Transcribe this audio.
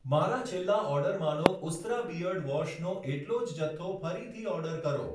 મારા છેલ્લા ઑર્ડરમાંનો ઉસ્ત્રા બીઅર્ડ વૉશનો એટલો જ જથ્થો ફરીથી ઑર્ડર કરો